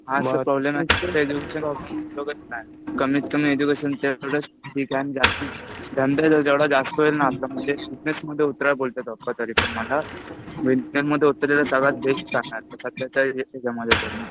हा तर प्रॉब्लेम आहे. कमीत कमी एज्युकेशन तेवढंच धंदा जेवढा जास्त होईल ना आपला म्हणजे बिजनेसमध्ये उतरा बोललेलं पठाडे सर मला. बिजनेसमध्ये उतरलेलं सगळ्यात बेस्ट चालणार आहे. सध्यातरी दिसतं आहे मला तरी.